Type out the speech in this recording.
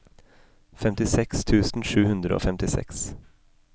femtiseks tusen sju hundre og femtiseks